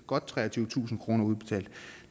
godt treogtyvetusind kroner udbetalt